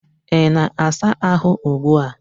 Ị na-asa ahụ ugbu a?